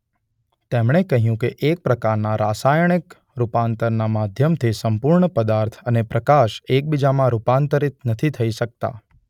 તેમણે કહ્યું કે એક પ્રકારના રાસાયણિક રૂપાંતરણના માધ્યમથી સંપૂર્ણ પદાર્થ અને પ્રકાશ એકબીજામાં રૂપાંતરિત નથી થઈ શકતા.